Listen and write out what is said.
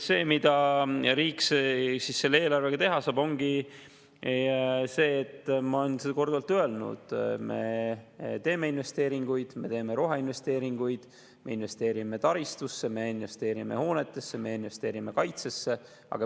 Mida riik selle eelarvega teha saab, ongi see, mida ma olen korduvalt öelnud: me teeme investeeringuid, me teeme roheinvesteeringuid, me investeerime taristusse, me investeerime hoonetesse, me investeerime kaitsesse.